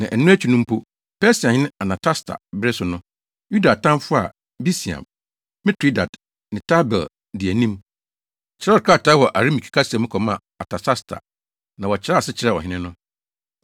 Na ɛno akyi no mpo, Persiahene Artasasta bere so no, Yuda atamfo a Bislam, Mitredat ne Tabeel di anim, kyerɛw krataa wɔ Arameike kasa mu kɔmaa Artasasta, na wɔkyerɛɛ ase kyerɛɛ ɔhene no.